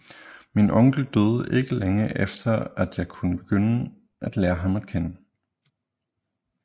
Min onkel døde ikke længe efter at jeg kunne begynde at lære ham at kende